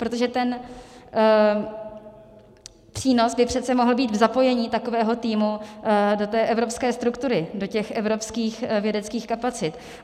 Protože ten přínos by přece mohl být v zapojení takového týmu do té evropské struktury, do těch evropských vědeckých kapacit.